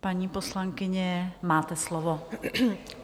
Paní poslankyně, máte slovo.